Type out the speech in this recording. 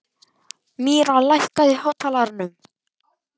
Myrra, lækkaðu í hátalaranum.